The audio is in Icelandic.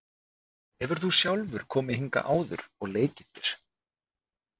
Hefur þú sjálfur komið hingað áður og leikið þér?